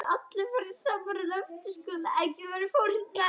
Hvað gerist um helgina?